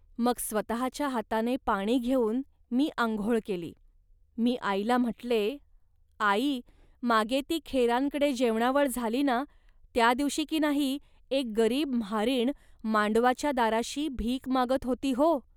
मग स्वतःच्या हाताने पाणी घेऊन मी आंघोळ केली. मी आईला म्हटले, "आई, मागे ती खेरांकडे जेवणावळ झाली ना, त्या दिवशी की नाही एक गरीब म्हारीण मांडवाच्या दाराशी भीक मागत होती हो